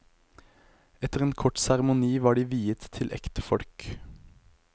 Etter en kort seremoni var de viet til ektefolk.